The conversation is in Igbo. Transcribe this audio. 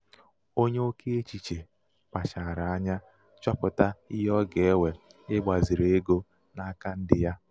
onye oké echiche kpachara anya chọpụta ihe ọ ga-ewe ịgbaziri ego n'aka ndị ya.